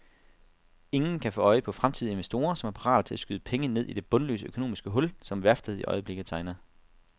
Ingen kan få øje på fremtidige investorer, som er parate til at skyde penge ned i det bundløse økonomiske hul, som værftet i øjeblikket tegner.